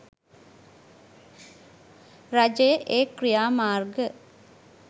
රජය ඒ ක්‍රියා මාර්ග